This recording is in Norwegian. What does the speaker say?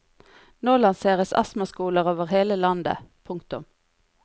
Nå lanseres astmaskoler over hele landet. punktum